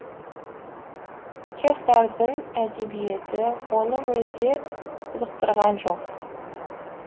чехтардың әдебиеті оны мүлде қызықтырған жоқ